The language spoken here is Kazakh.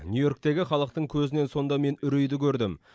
нью йорктегі халықтың көзінен сонда мен үрейді көрдім